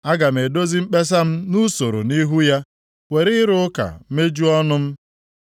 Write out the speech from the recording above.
Aga m edozi mkpesa m nʼusoro nʼihu ya were ịrụ ụka mejuo ọnụ m.